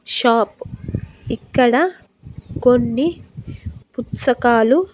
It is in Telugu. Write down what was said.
షాప్ ఇక్కడ కొన్ని పుచ్చకాలు --